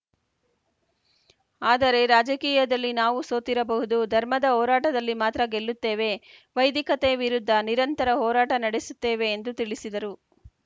ಆದರೆ ರಾಜಕೀಯದಲ್ಲಿ ನಾವು ಸೋತಿರಬಹುದು ಧರ್ಮದ ಹೋರಾಟದಲ್ಲಿ ಮಾತ್ರ ಗೆಲ್ಲುತ್ತೇವೆ ವೈದಿಕತೆ ವಿರುದ್ಧ ನಿರಂತರ ಹೋರಾಟ ನಡೆಸುತ್ತೇವೆ ಎಂದು ತಿಳಿಸಿದರು